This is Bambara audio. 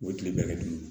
U bɛ tile bɛɛ kɛ dulon